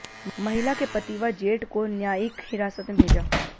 महिला के पति व जेठ को न्यायिक हिरासत में भेजा